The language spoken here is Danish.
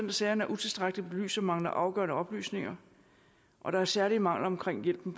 af sagerne er utilstrækkeligt belyst og mangler afgørende oplysninger og der er særlige mangler omkring hjælpen